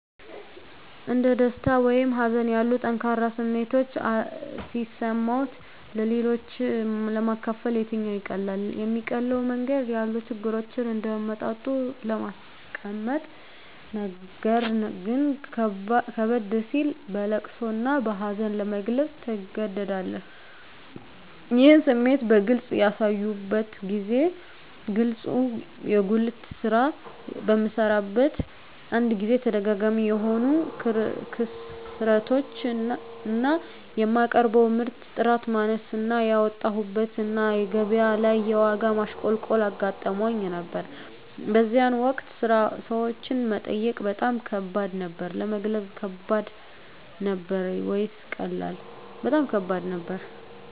እንደ ደስታ ወይም ሀዘን ያሉ ጠንካራ ስሜቶች ሲሰማዎት-ለሌሎች ለማካፈል የትኛው ይቀላል? የሚቀለው መንገድ ያሉ ችግሮችን እንደ አመጣጡ ለማስቀመጥነገር ግን ከበድ ሲል በለቅሶ እና በሀዘን ለመግለፅ ትገደዳለህ ይህን ስሜት በግልጽ ያሳዩበትን ጊዜ ግለጹ የጉልት ስራ በምሰራበት አንድ ጊዜ ተደጋጋሚ የሆኑ ክስረቶች እና የማቀርበው ምርት ጥራት ማነስ እና ያወጣሁበት እና ገቢያ ላይ የዋጋ ማሽቆልቆል አጋጥሞኝ ነበር በዚያን ወቅት ቤት ውስጥ የሚበላ የሚቀመስ ነገር አልነበረኝም ራበኝ ብሎ ሰዎችን መጠየቅ በጣም ከባድ ነበር። ለመግለጽ ከባድ ነበር ወይስ ቀላል? በጣም ከባድ ነበር